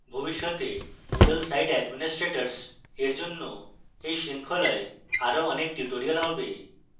ভবিষ্যতে moodle site administrators এর জন্য এই শৃঙ্খলায় আরো অনেক tutorials হবে